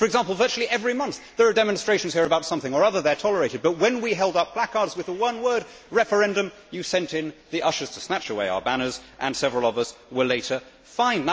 For example, virtually every month there are demonstrations here about something or other and they are tolerated, but when we held up placards with the one word referendum' you sent in the ushers to snatch away our banners and several of us were later fined.